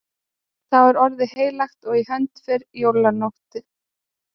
Þá er orðið heilagt og í hönd fer jólanóttin.